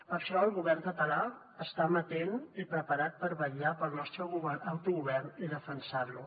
per això el govern català està amatent i preparat per vetllar pel nostre autogovern i defensar lo